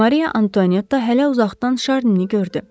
Mariya Antuanetta hələ uzaqdan Şarnini gördü.